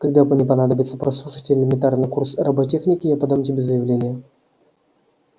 когда мне понадобится прослушать элементарный курс роботехники я подам тебе заявление